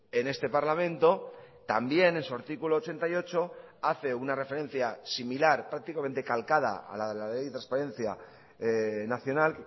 en este parlamento también en su artículo ochenta y ocho hace una referencia similar prácticamente calcada a la de la ley de transparencia nacional